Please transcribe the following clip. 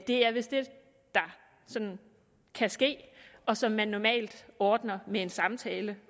det er vist det der sådan kan ske og som man normalt ordner med en samtale